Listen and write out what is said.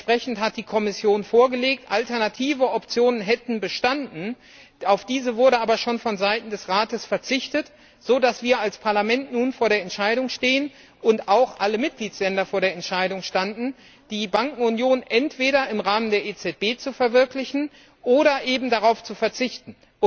Entsprechendes hat die Kommission vorgelegt, alternative Optionen hätten bestanden, auf diese wurde aber schon vonseiten des Rates verzichtet, sodass wir als Parlament nun vor der Entscheidung stehen und auch alle Mitgliedstaaten vor der Entscheidung standen, die Bankenunion entweder im Rahmen der EZB zu verwirklichen oder eben darauf zu verzichten.